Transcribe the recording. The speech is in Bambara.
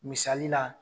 Misali la